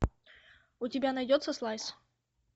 у тебя найдется слайс